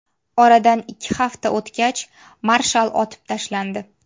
Oradan ikki hafta o‘tgach, marshal otib tashlandi.